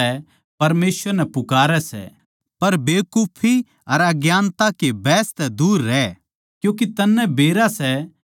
पर बेकुफी अर अज्ञानता के बहस तै दूर रह क्यूँके तन्नै बेरा सै के इनतै झगड़े पैदा होवै सै